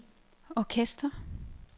orkester